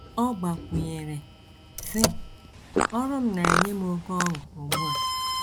Ọ gbakwụnyere, sị: “ Ọrụ m na - enye m oké ọṅụ ugbu a.